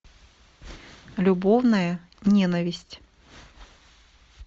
любовная ненависть